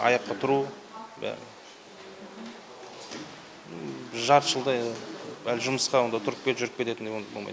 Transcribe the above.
аяққа тұру жарты жылдай жұмысқа онда тұрып кетіп жүріп кететіндей болмайды